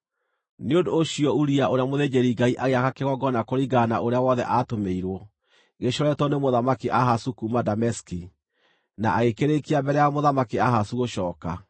Nĩ ũndũ ũcio Uria ũrĩa mũthĩnjĩri-Ngai agĩaka kĩgongona kũringana na ũrĩa wothe aatũmĩirwo, gĩcoretwo nĩ Mũthamaki Ahazu kuuma Dameski, na agĩkĩrĩĩkia mbere ya Mũthamaki Ahazu gũcooka.